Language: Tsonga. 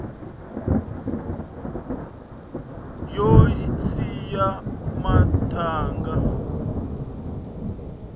yo siya mathanga